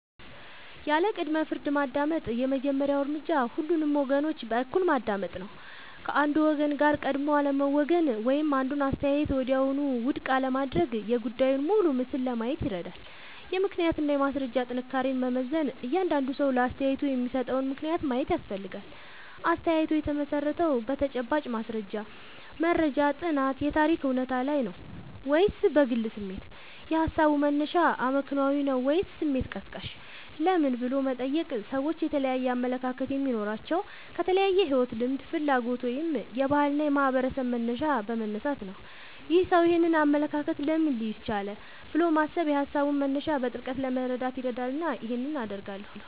ያለ ቅድመ-ፍርድ ማዳመጥ የመጀመሪያው እርምጃ ሁሉንም ወገኖች በእኩልነት ማዳመጥ ነው። ከአንዱ ወገን ጋር ቀድሞ አለመወገን ወይም አንዱን አስተያየት ወዲያውኑ ውድቅ አለማድረግ የጉዳዩን ሙሉ ምስል ለማየት ይረዳል። የምክንያትና የማስረጃ ጥንካሬን መመዘን እያንዳንዱ ሰው ለአስተያየቱ የሚሰጠውን ምክንያት ማየት ያስፈልጋል። አስተያየቱ የተመሠረተው በተጨባጭ ማስረጃ (መረጃ፣ ጥናት፣ የታሪክ እውነታ) ላይ ነው ወይስ በግል ስሜት? የሃሳቡ መነሻ አመክንዮአዊ ነው ወይስ ስሜት ቀስቃሽ? ለምን" ብሎ መጠየቅ ሰዎች የተለያየ አመለካከት የሚኖራቸው ከተለያየ የሕይወት ልምድ፣ ፍላጎት ወይም የባህልና የማኅበረሰብ መነሻ በመነሳት ነው። "ይህ ሰው ይህንን አመለካከት ለምን ሊይዝ ቻለ?" ብሎ ማሰብ የሃሳቡን መነሻ በጥልቀት ለመረዳት ይረዳልና ይህን አደርጋለሁ